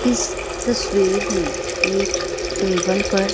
इस तस्वीर मे एक टेबल पर।